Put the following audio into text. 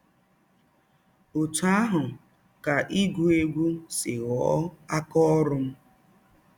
Ọtụ ahụ ka ịgụ egwụ si ghọọ aka ọrụ m.